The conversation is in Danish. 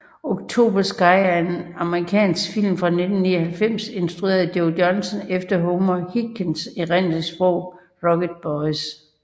October Sky er en amerikansk film fra 1999 instrueret af Joe Johnston efter Homer Hickams erindringsbog Rocket Boys